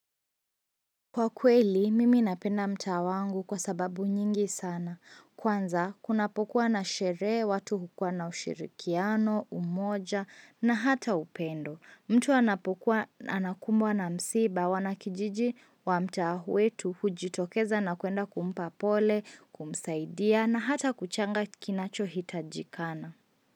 Kwa kweli, mimi napenda mta wangu kwa sababu nyingi sana. Kwanza, kunapokuwa na shere, watu hukua na ushirikiano, umoja na hata upendo. Mtu anapokuwa anakumbwa na msiba wanakijiji wa mta wetu hujitokeza na kuenda kumpa pole, kumsaidia na hata kuchanga kinacho hitajikana.